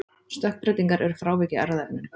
Stökkbreytingar eru frávik í erfðaefninu.